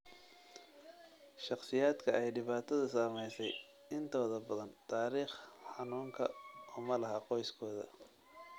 Shakhsiyaadka ay dhibaatadu saameysey intooda badan taariikh xanuunka uma laha qoyskooda.